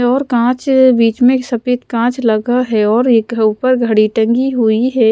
और कांच बीच में सफेद कांच लगा है और एक ऊपर घड़ी टंगी हुई है।